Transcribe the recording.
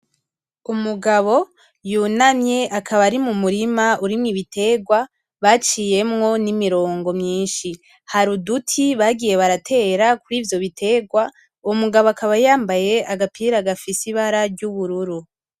Umugabo yunamye akaba ari mumurima urimwo ibiterwa baciyemwo n'imirongo myinshi, har'uduti bagiye baratera kurivyo biterwa umugabo akaba yambaye agapira gafise ibara ry'ubururu.